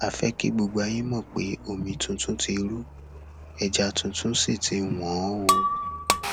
a fẹ kí gbogbo ayé mọ pé omi tuntun ti ru ẹja tuntun sí tí wọn o